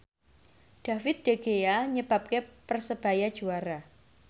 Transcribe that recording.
David De Gea nyebabke Persebaya juara